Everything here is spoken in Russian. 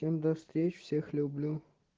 всем до встречи всех люблю